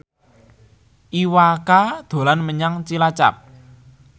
Iwa K dolan menyang Cilacap